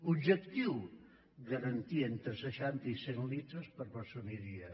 objectiu garantir entre seixanta i cent litres per persona i dia